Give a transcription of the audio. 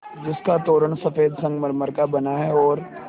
जिसका तोरण सफ़ेद संगमरमर का बना है और